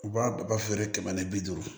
U b'a u b'a feere kɛmɛ ni bi duuru